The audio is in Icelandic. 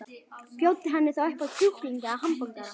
Bjóddu henni þá upp á kjúkling eða hamborgara.